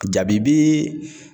Jabibi